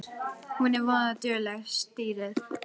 Hún er voða dugleg, stýrið.